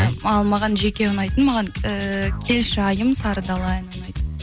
ал маған жеке ұнайтын маған і келші айым сары дала әні ұнайды